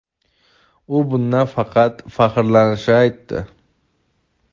u bundan faqat faxrlanishini aytdi.